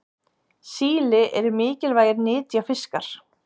síli eru mikilvægir nytjafiskar